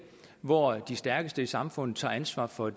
hvor de stærkeste i samfundet tager ansvar for